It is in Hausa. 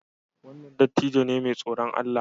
Wannan dattijo ne mai tsoron Allah